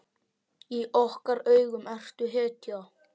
Í okkar augum ertu hetja.